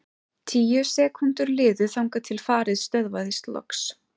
Tíu sekúndur liðu þangað til farið stöðvaðist loks.